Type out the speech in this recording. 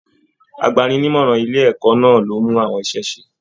Àgbàni-ní-ìmọràn ilé ẹ̀kọ́ náà ló mú àwọn iṣẹ ise.